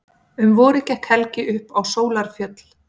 Um vorið gekk Helgi upp á Sólarfjöll.